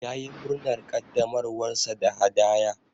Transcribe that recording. Ya yi murnar ƙaddamarwar sa da hadaya.